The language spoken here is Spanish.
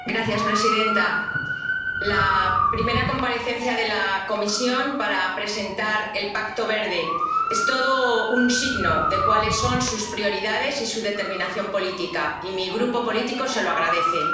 Señora presidenta, la primera comparecencia de la Comisión para presentar el Pacto Verde es todo un signo de cuáles son sus prioridades y su determinación política, y mi grupo político se lo agradece.